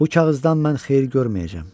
Bu kağızdan mən xeyir görməyəcəyəm.